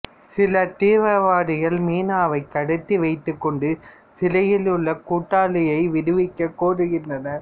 சில திவீரவாதிகள் மீனாவை கடத்தி வைத்து கொண்டு சிறையில் உள்ள கூட்டாளியை விடுவிக்க கோருகின்றனர்